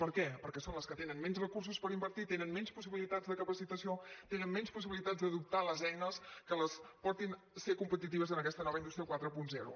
per què perquè són les que tenen menys recursos per invertir tenen menys possibilitats de capacitació tenen menys possibilitats d’adoptar les eines que les portin a ser competitives en aquesta nova indústria quaranta